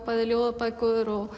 bæði ljóðabækur og